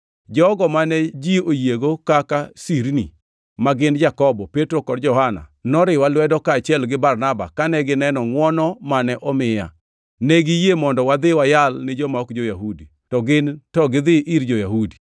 Jogo mane ji oyiego kaka sirni, ma gin; Jakobo, Petro kod Johana, noriwa lwedo kaachiel gi Barnaba kane gineno ngʼwono mane omiya. Ne giyie mondo wadhi wayal ni joma ok jo-Yahudi, ka gin to gidhi ir jo-Yahudi.